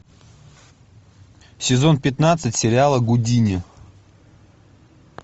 сезон пятнадцать сериала гудини